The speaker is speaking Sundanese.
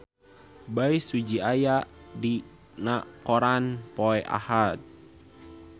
Bae Su Ji aya dina koran poe Ahad